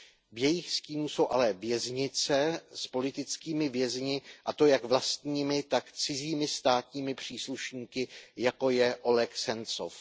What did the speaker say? V jejich stínu jsou ale věznice s politickými vězni, a to jak vlastními, tak cizími státními příslušníky, jako je Oleg Sencov.